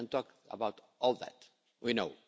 We can talk about all that, we know.